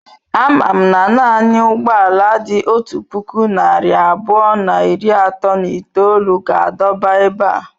Amam na naanị ụgbọ ala dị otu puku narị abụọ na iri atọ na itolu ga-adọba ebe a.